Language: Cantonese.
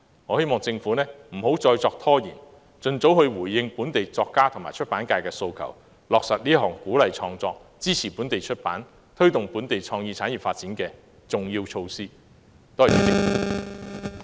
我希望政府不要再拖延，並盡早回應本地作家和出版界的訴求，以落實這項鼓勵創作、支持本地出版業和推動本地創意產業發展的重要措施。